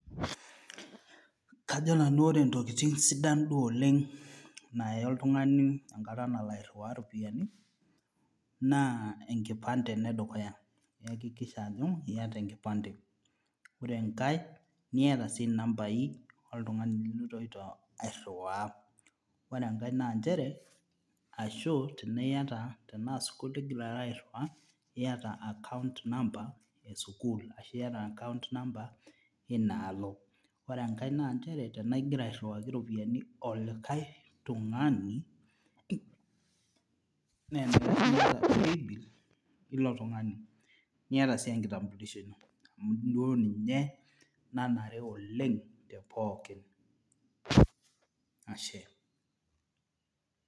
Kajo nanu ore intokitin duo sidan oleng naaya oltung'ani enkata nalo airriwaa iropiani naa enkipande enedukuya iyakikisha ajo iyata enkipande ore enkae niyata sii inambai oltung'ani liloito airriwaa ore enkae nanchere ashu tenaa iyata tenaa sukuul igira alo airriwaa niyata account number esukuul ashu iyata account number ina alo ore enkae nanchere tanaa igira airriwaki iropiyiani olikae tung'ani nenaikash niyata paybill ilo tung'ani niyata sii enkitambulisho ino amu duo ninye nanare oleng te pookin ashe.